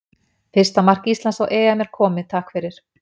Fyrsta mark Íslands á EM er komið, takk fyrir.